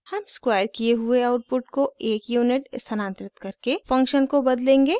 हम स्क्वायर किए हुए आउटपुट को 1 यूनिट स्थानांतरित करके फंक्शन को बदलेंगे